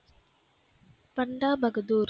சந்தா மகுதூர்